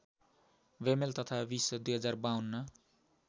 बेमेल तथा विस‌ २०५२